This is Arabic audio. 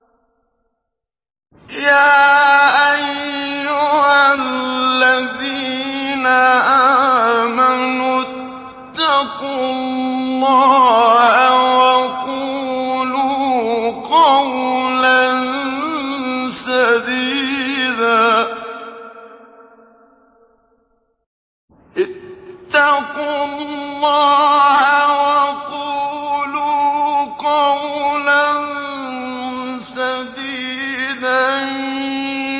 يَا أَيُّهَا الَّذِينَ آمَنُوا اتَّقُوا اللَّهَ وَقُولُوا قَوْلًا سَدِيدًا